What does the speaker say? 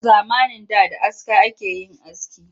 A zamanin da da aska ake yin aski